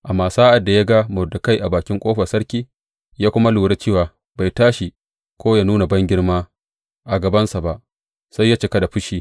Amma sa’ad da ya ga Mordekai a bakin ƙofar sarki, ya kuma lura cewa bai tashi, ko yă nuna bangirma a gabansa ba, sai ya cika da fushi.